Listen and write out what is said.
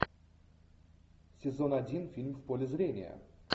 сезон один фильм в поле зрения